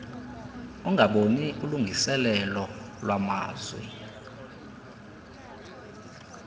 ungaboni ulungiseelelo lwamazwi